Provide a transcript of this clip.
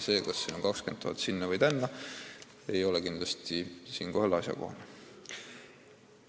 See, kas 20 000 eurot sinna või tänna, ei ole kindlasti asjakohane argument.